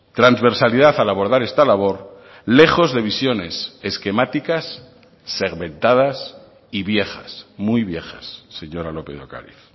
transversalidad al abordar esta labor lejos de visiones esquemáticas segmentadas y viejas muy viejas señora lópez de ocariz